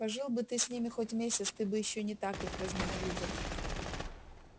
пожил бы ты с ними хоть месяц ты бы ещё не так их возненавидел